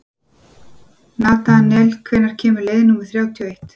Natanael, hvenær kemur leið númer þrjátíu og eitt?